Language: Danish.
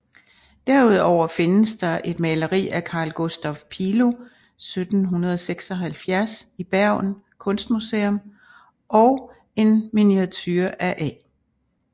Derudover findes der et maleri af Carl Gustaf Pilo 1776 i Bergen Kunstmuseum og en miniature af A